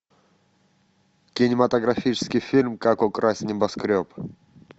кинематографический фильм как украсть небоскреб